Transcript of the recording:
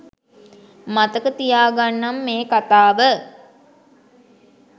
මතක තියාගන්නම් මේ කතාව